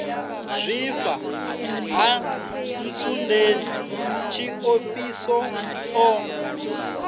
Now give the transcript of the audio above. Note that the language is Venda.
zwifha ha ntsundeni tshiofhiso o